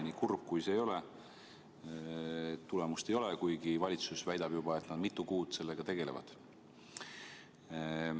Nii kurb kui see ka ei ole, tulemust ei ole, kuigi valitsus väidab, et nad juba mitu kuud sellega tegelevad.